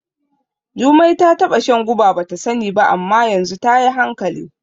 Jumai ta taɓa shan guba bata sani ba, amma yanzu tayi hankali.